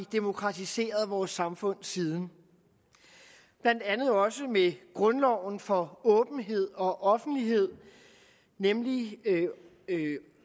demokratiseret vores samfund siden blandt andet med grundloven for åbenhed og offentlighed nemlig